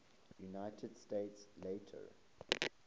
united states later